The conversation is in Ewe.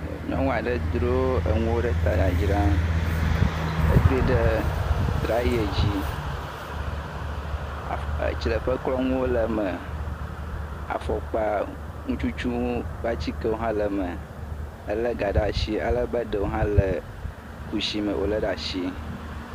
Nyɔnu aɖe dro enuwo ɖe ta le dzadzram, edroe ɖe traye dzi, tsileƒeklɔnuwo le eme, afɔŋututunuwo ƒe atikewo hã le me, elé ga ɖe asi alebe ɖewo hã kutsi me wòlé ɖe atsi.